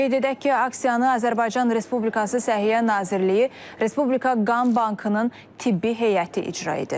Qeyd edək ki, aksiyanı Azərbaycan Respublikası Səhiyyə Nazirliyi, Respublika Qan Bankının tibbi heyəti icra edir.